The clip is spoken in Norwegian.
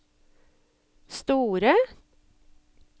store